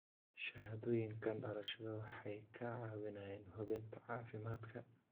Shahaadooyinka dhalashada waxay kaa caawinayaan hubinta caafimaadka.